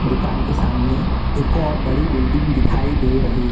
दुकान के सामने एक और बड़ी बिल्डिंग दिखाई दे रही--